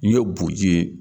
N'i ye boji ye